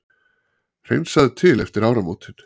Hreinsað til eftir áramótin